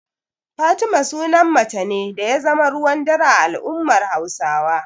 Fatima sunan mace ne da ya zama ruwan dare a al'ummar Hausawa.